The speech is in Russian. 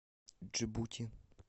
джибути